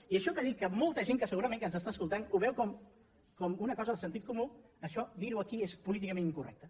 i això que dic que molta gent que segurament ens està escolant ho veu com una cosa de sentit comú això dir ho aquí és políticament incorrecte